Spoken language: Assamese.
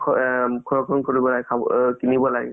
কিনিব লাগে